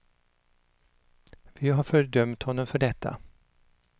Vi har fördömt honom för detta.